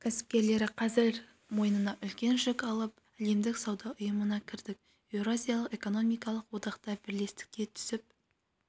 кәсіпкерлері қазір мойнына үлкен жүк алып әлемдік сауда ұйымына кірдік еуразиялық экономикалық одақта бәсекелестікке түсіп